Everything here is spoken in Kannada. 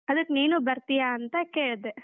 ಅದ್ಕೆ ನೀನೂ ಬರ್ತೀಯಾ ಅಂತ ಕೇಳ್ದೆ.